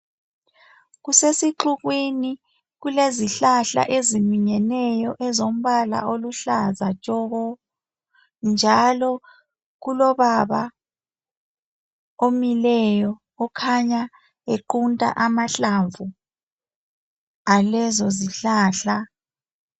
Kusesixukwini kulezihlahla eziminyeneyo ezombala oluhlaza tshoko njalo kulobaba omileyo okhanya equnta amahlamvu alezo zihlahla.